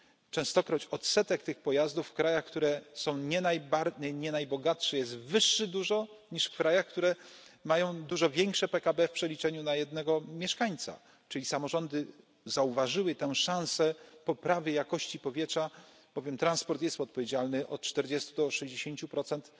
Częstokroć odsetek tych pojazdów w krajach, które są nie najbogatsze jest dużo wyższy niż w krajach, które mają dużo większe PKB w przeliczeniu na jednego mieszkańca. Czyli samorządy zauważyły tę szansę poprawy jakości powietrza, bowiem transport jest odpowiedzialny od czterdziestu do sześćdziesięciu procent